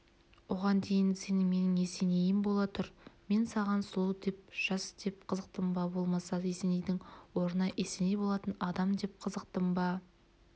оған дейін сен менің есенейім бола тұр мен саған сұлу деп жас деп қызықтым ба болмаса есенейдің орнына есеней болатын адам деп қызықтым ба